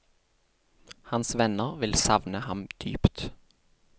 Hans venner vil savne ham dypt.